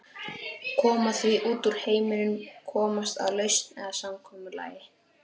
Koma því út úr heiminum, komast að lausn eða samkomulagi.